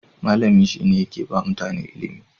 malami shine yakeba mutane ilimi